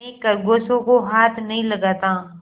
मैं खरगोशों को हाथ नहीं लगाता